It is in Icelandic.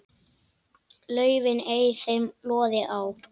laufin ei þeim loði á.